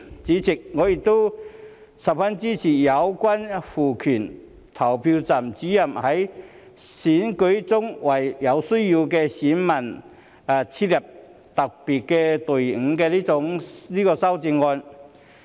主席，我亦十分支持有關賦權投票站主任在選舉中為有需要的選民設立特別隊伍的修正案。